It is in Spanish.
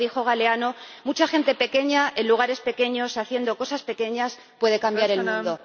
Como dijo Galeano, mucha gente pequeña, en lugares pequeños, haciendo cosas pequeñas, puede cambiar el mundo.